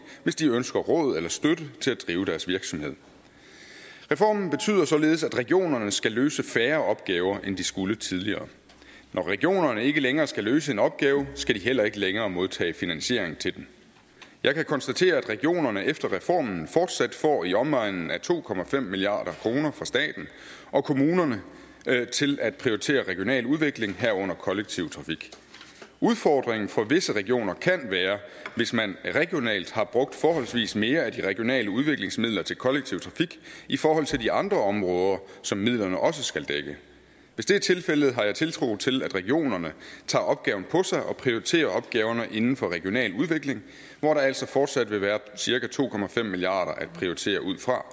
hvis de ønsker råd eller støtte til at drive deres virksomhed reformen betyder således at regionerne skal løse færre opgaver end de skulle tidligere når regionerne ikke længere skal løse en opgave skal de heller ikke længere modtage finansiering til den jeg kan konstatere at regionerne efter reformen fortsat får i omegnen af to milliard kroner fra staten og kommunerne til at prioritere regional udvikling herunder kollektiv trafik udfordringen for visse regioner kan være hvis man regionalt har brugt forholdsvis mere af de regionale udviklingsmidler til kollektiv trafik i forhold til de andre områder som midlerne også skal dække hvis det er tilfældet har jeg tiltro til at regionerne tager opgaven på sig og prioriterer opgaverne inden for regional udvikling hvor der altså fortsat vil være cirka to milliard kroner at prioritere ud fra